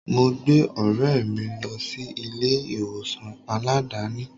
Mo gbé ọ̀rẹ́ mi lọ sí ilé ìwòsàn Aládàáni.